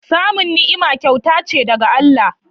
Samun ni'ima kyauta ce daga Allah.